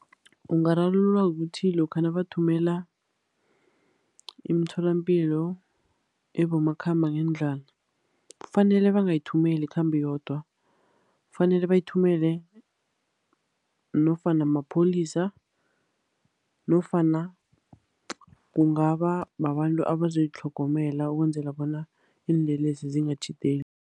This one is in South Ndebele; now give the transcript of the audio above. Ungararululwa kuthi lokha nabathumela imitholapilo ebomakhambangendlwana, kufanele bangayithumeli ikhambe yodwa. Kufanele bayithumele nofana mapholisa, nofana kungaba babantu abazoyitlhogomela, ukwenzela bona iinlelesi zingakatjhideli.